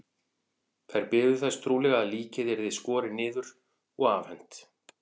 Þær biðu þess trúlega að líkið yrði skorið niður og afhent.